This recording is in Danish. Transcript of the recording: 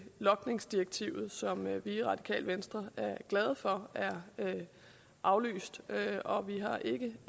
logningsdirektivet som vi i radikale venstre er glade for er aflyst og vi har ikke